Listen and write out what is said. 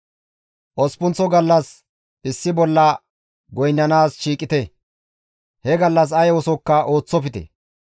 « ‹Osppunththa gallas issi bolla goynnanaas shiiqite; he gallas ay oosokka ooththofte.